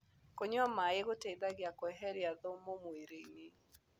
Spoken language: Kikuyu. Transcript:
Kũnyua maĩ gũteĩthagĩa kweherĩa thũmũ mwĩrĩĩnĩ